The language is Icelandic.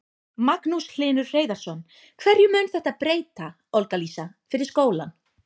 Magnús Hlynur Hreiðarsson: Hverju mun þetta breyta, Olga Lísa, fyrir skólann?